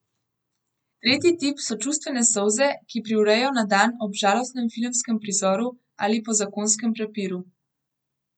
Tretji tip so čustvene solze, ki privrejo na dan ob žalostnem filmskem prizoru ali po zakonskem prepiru.